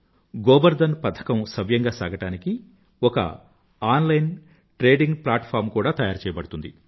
గోబర్ ధన్ పథకం సవ్యంగా సాగడానికి ఒక ఆన్లైన ట్రేడింగ్ ప్లాట్ఫార్మ్ కూడా తయారుచెయ్యడదుతుంది